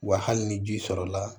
Wa hali ni ji sɔrɔla